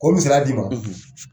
K'o misaliya d'i ma.